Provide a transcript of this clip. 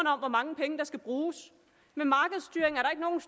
om hvor mange penge der skal bruges med markedsstyring